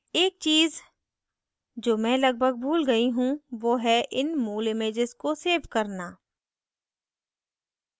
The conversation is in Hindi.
एक चीज़ जो मैं लगभग भूल गयी हूँ one है इन मूल images को सेव करना